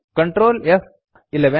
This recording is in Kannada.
ಕಂಟ್ರೋಲ್ ಫ್11